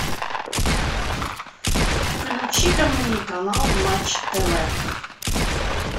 включи ка мне канал матч тв